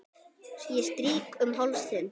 Strýk um háls þinn.